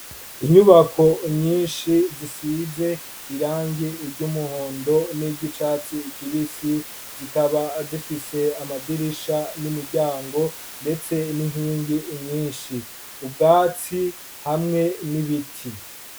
Inyubako nyinshi zisize irangi ry'umuhondo niry'icatsi kibisi, zikaba zifise amadirisha n'imiryango ndetse n'inkingi nyinshi. Ubwatsi hamwe n'ibiti.